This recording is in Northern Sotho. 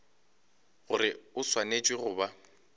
gore o swanetše go ba